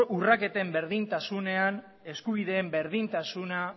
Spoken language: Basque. urraketen berdintasunean eskubideen berdintasuna